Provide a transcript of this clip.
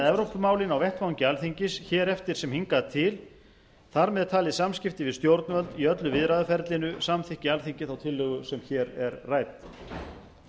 evrópumálin á vettvangi alþingis hér eftir sem hingað til þar með talið samskipti við stjórnvöld í öllu viðræðuferlinu samþykki alþingi þá tillögu sem hér er rædd